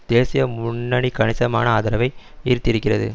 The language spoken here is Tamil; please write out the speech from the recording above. தேசிய முன்னணி கணிசமான ஆதரவை ஈர்த்திருக்கிறது